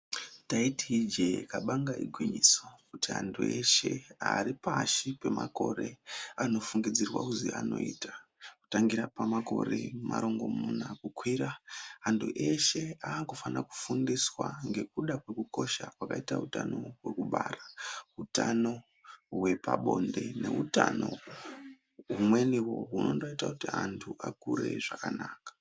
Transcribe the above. Taiti ijee kabanga igwinyiso kuti antu eshe ari pashi pemakore anofungidzirwa kuzi anoita. Kutangira pamakore marongomuna kukwira, antu eshe akufana kufundiswa ngekuda kwekukosha kwakaita utano hwekubara. Utano hwepabonde neutano humweniwo hunondoita kuti antu akure zvakanaka.